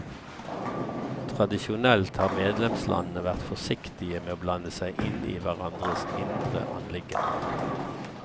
Tradisjonelt har medlemslandene vært forsiktige med å blande seg inn i hverandres indre anliggender.